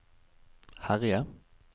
herje